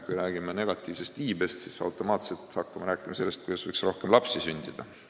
Kui me räägime negatiivsest iibest, siis hakkame automaatselt rääkima sellest, kuidas võiks rohkem lapsi sündida.